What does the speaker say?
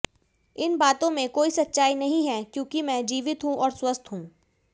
इन बातों में कोई सच्चाई नहीं है क्योंकि मैं जीवित हूं और स्वस्थ हूं